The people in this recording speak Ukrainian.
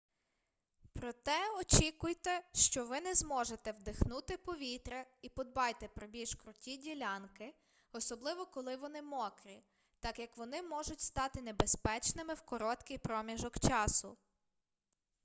проте очікуйте що ви не зможете вдихнути повітря і подбайте про більш круті ділянки особливо коли вони мокрі так як вони можуть стати небезпечними в короткий проміжок часу